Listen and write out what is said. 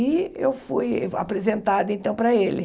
E eu fui apresentada então para ele.